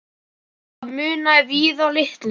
Það munaði víða litlu.